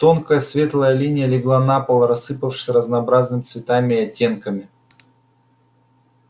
тонкая светлая линия легла на пол рассыпавшись разнообразными цветами и оттенками